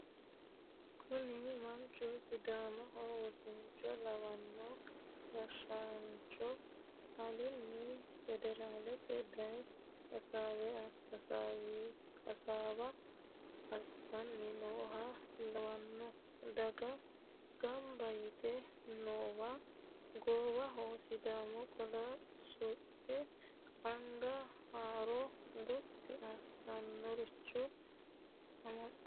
Kuni manchu sidaamaho wosicho lawanoe gashshancho alini federaleteni daye hasaawa assani nooha lawano daga gamba yte noowa goowaho sidaamu qolo suxino anga huuro gotti assanoricho amaxino.